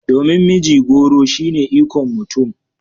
Domin mijigoro shine ikon mutum